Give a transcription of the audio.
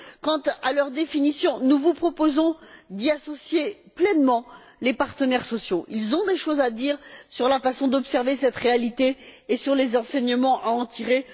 Quant à leur définition, nous vous proposons d'y associer pleinement les partenaires sociaux, qui ont des choses à dire sur la façon d'observer cette réalité et sur les enseignements à en tirer.